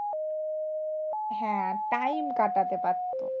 হ্যাঁ time কাটাতে পারতো।